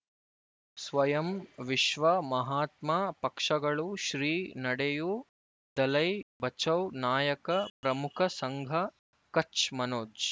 ಸ್ವಯಂ ವಿಶ್ವ ಮಹಾತ್ಮ ಪಕ್ಷಗಳು ಶ್ರೀ ನಡೆಯೂ ದಲೈ ಬಚೌ ನಾಯಕ ಪ್ರಮುಖ ಸಂಘ ಕಚ್ ಮನೋಜ್